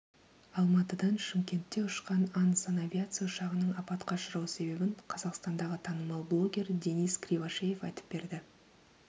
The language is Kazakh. алматыдан шымкентте ұшқан ан санавиация ұшағының апатқа ұшрау себебін қазақстандағы танымал блогер денис кривошеев айтып берді